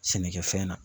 Sɛnɛkɛfɛn na